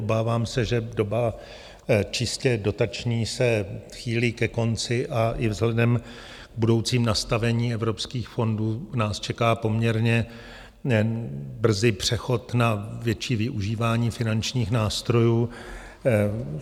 Obávám se, že doba čistě dotační se chýlí ke konci a i vzhledem k budoucímu nastavení evropských fondů nás čeká poměrně brzy přechod na větší využívání finančních nástrojů.